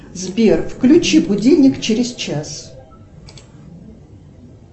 сбер включи будильник через час